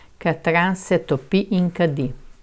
Katran se topi in kadi.